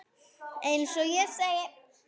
Eins og ég segi.